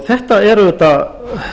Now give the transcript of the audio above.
þetta er auðvitað